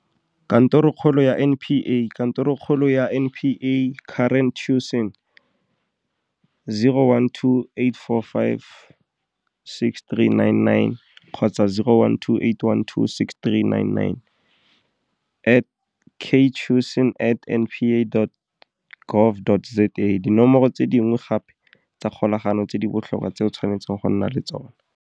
Kantorokgolo ya NPA Kantorokgolo ya NPA, Karen Tewson, 012 845 6399 012 812 6399, Ktewson at npa.gov.za Dinomoro tse dingwe gape tsa kgolagano tse di botlhokwa tse o tshwanetseng go nna le tsona.